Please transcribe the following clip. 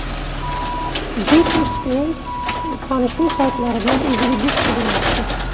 Britni Spirs tanishuv saytlaridan o‘ziga juft qidiryapti.